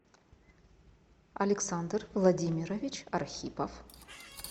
александр владимирович архипов